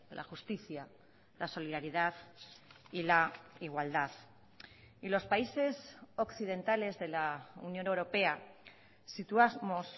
la justicia la solidaridad y la igualdad y los países occidentales de la unión europea situamos